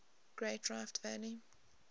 great rift valley